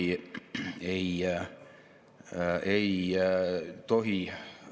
Nende sihtide elluviimiseks on kaks keskset arengukava, mis suunavad Majandus- ja Kommunikatsiooniministeeriumi tegevusi.